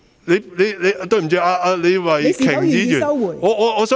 對不起，李慧琼議員......